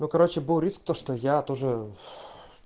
ну короче был риск то что я тоже